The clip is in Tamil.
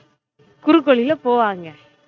குறுக்கு வழில போவாங்க